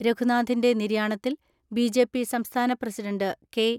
രഘുനാഥിന്റെ നിര്യാണത്തിൽ ബി.ജെ.പി സംസ്ഥാന president K.